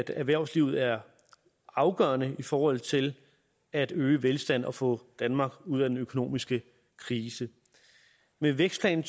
erhvervslivet er afgørende i forhold til at øge velstanden og få danmark ud af den økonomiske krise med vækstplan